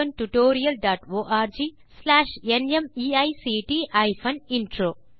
மூல பாடம் Desi Crew solutions